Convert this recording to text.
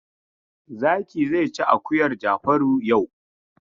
Zaki zai ci akuyar Jafaru yau.